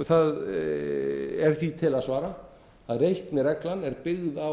því er til að svara að reiknireglan er byggð á